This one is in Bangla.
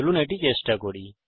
চলুন এটি চেষ্টা করি